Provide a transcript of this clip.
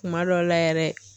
Kuma dɔw la yɛrɛ.